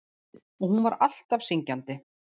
Og hún var alltaf syngjandi.